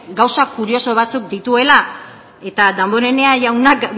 gauza kurioso batzuk dituela eta damborenea jaunak